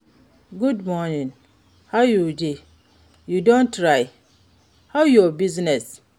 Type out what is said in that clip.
Good morning, how you dey, you don try, how your business?